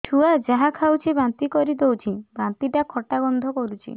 ଛୁଆ ଯାହା ଖାଉଛି ବାନ୍ତି କରିଦଉଛି ବାନ୍ତି ଟା ଖଟା ଗନ୍ଧ କରୁଛି